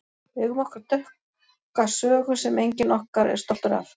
Við eigum okkar dökka sögu sem enginn okkar er stoltur af.